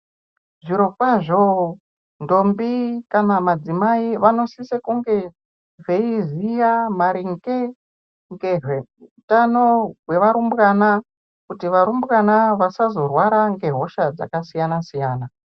Zvirokwazvo, ntombi kana madzimai vanosise kunge beyiziya maringe ngezvehutano hwevarumbwana ,kuti varumbwana vasazorwara ngehosha dzakasiyana siyana.